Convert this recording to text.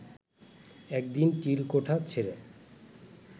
একদিন চিলেকোঠা ছেড়ে